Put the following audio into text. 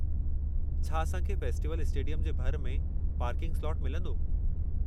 छा असां खे फेस्टिवल स्टेडियम जे भरि में पार्किंग स्लॉटु मिलंदो?